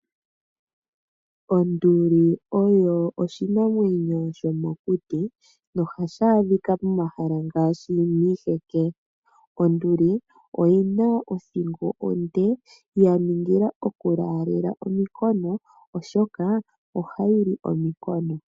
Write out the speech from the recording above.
Onduli oyo oshinamwenyo shomokuti, no ha shi adhika momahala ngaashi miiheke. Onduli oyina othingo onde, ya ningila oku laalela ominkono oshoka oha yi li ominkono.